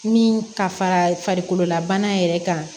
Min ka farakololabana yɛrɛ kan